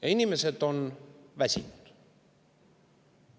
Ja inimesed on väsinud.